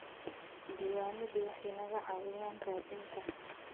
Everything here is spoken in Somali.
Diiwaanadu waxay naga caawiyaan raadinta.